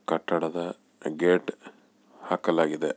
ಕಟ್ಟಡದ ಆ ಗೇಟ್ ಹಾಕಲಾಕಗಿದೆ.